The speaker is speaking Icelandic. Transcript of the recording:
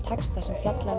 texta sem fjallar